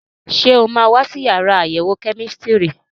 Ṣé o máa wá sí yàrá àyẹ̀wò kẹ́mísítírì?